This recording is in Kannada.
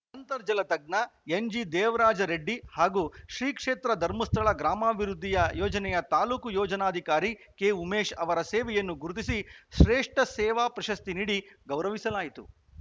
ಅಂತರ್ಜಲ ತಜ್ಞ ಎನ್‌ಜೆ ದೇವರಾಜ ರೆಡ್ಡಿ ಹಾಗೂ ಶ್ರೀಕ್ಷೇತ್ರ ಧರ್ಮಸ್ಥಳ ಗ್ರಾಮಾಭಿವೃದ್ಧಿಯ ಯೋಜನೆಯ ತಾಲೂಕು ಯೋಜನಾಧಿಕಾರಿ ಕೆಉಮೇಶ್‌ ಅವರ ಸೇವೆಯನ್ನು ಗುರುತಿಸಿ ಶ್ರೇಷ್ಠ ಸೇವಾ ಪ್ರಶಸ್ತಿ ನೀಡಿ ಗೌರವಿಸಲಾಯಿತು